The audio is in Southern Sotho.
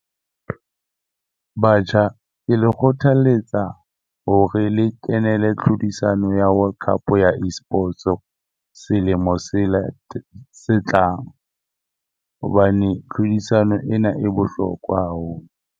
Batjha ke le kgothaletsa hore le kenele tlhodisano ya World Cup ya Esports-o selemo se se tlang hobane tlhodisano ena e bohlokwa haholo.